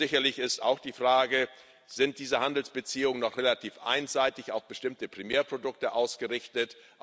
Sicherlich sind auch die Fragen Sind diese Handelsbeziehungen noch relativ einseitig auf bestimmte Primärprodukte ausgerichtet?